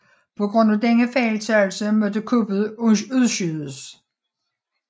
På grund af denne fejltagelse måtte kuppet udskydes